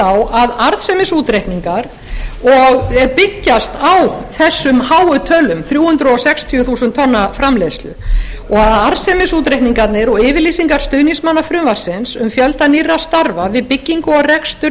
á að arðsemisútreikningar byggjast á þessum háu tölum þrjú hundruð sextíu þúsund tonna framleiðslu og arðsemisútreikningarnir og yfirlýsingar stuðningsmanna frumvarpsins um fjölda nýrra starfa við byggingu og rekstur